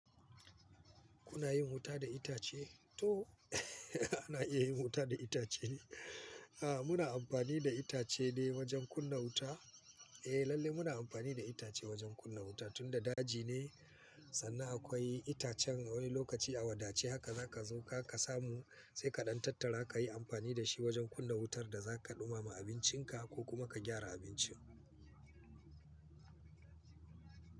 Kuna yin wuta da itace? To ana iya yin wuta da itace ne. Muna amfani da itace ne wajen kunna wuta. Lalle muna amfani da itace wajen kunna wuta, tunda daji ne sannan akwai itacen a wani lokaci a wadace haka za ka zo ka samu sai ka ɗantatar ka yi amfani da shi wajen kunna wutar da za ka ɗumama abincinka ko kuma ka gyara abincin.